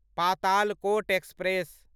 Patalkot express